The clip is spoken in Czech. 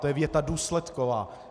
To je věta důsledková.